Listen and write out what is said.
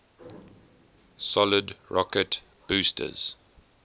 solid rocket boosters